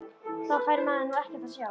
Þá fær maður nú ekkert að sjá!!